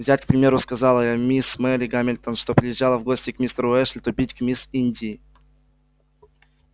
взять к примеру сказала я мисс мелли гамильтон что приезжала в гости к мистеру эшли то бить к мисс индии